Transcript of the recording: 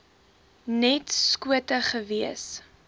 net skote gewees